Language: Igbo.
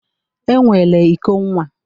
E nwere iko nwa